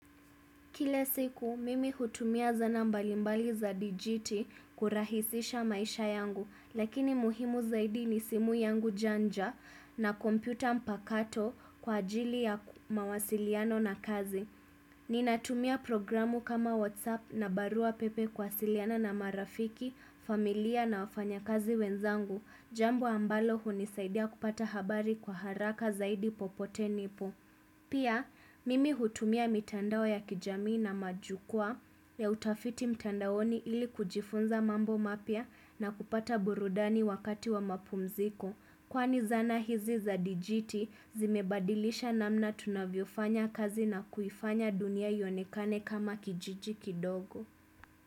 Kile siku, mimi hutumia zana mbalimbali za dijiti kurahisisha maisha yangu, lakini muhimu zaidi ni simu yangu janja na kompyuta mpakato kwa ajili ya mawasiliano na kazi. Ninatumia programu kama WhatsApp na barua pepe kuwasiliana na marafiki, familia na wafanyakazi wenzangu, jambo ambalo hunisaidia kupata habari kwa haraka zaidi popote nipo. Pia, mimi hutumia mitandao ya kijamii na majukua ya utafiti mitandaoni ili kujifunza mambo mapya na kupata burudani wakati wa mapumziko. Kwani zana hizi za dijiti zimebadilisha namna tunavyofanya kazi na kuifanya dunia yonekane kama kijiji kidogo.